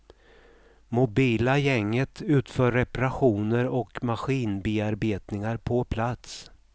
Mobila gänget utför reparationer och maskinbearbetningar på plats.